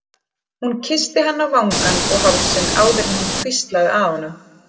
Hún kyssti hann á vangann og hálsinn áður en hún hvíslaði að honum